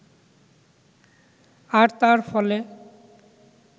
আর তার ফলে